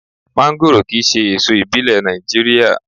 Mọ́ńgòrò kì í ṣe èso ìbílẹ̀ Nàìjíríà.